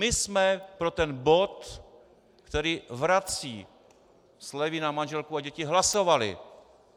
My jsme pro ten bod, který vrací slevy na manželku a děti, hlasovali.